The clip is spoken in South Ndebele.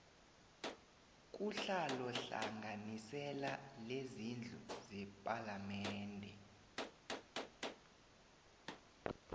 kuhlalohlanganisela lezindlu zepalamende